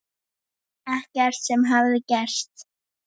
Ekkert sem hafði gerst.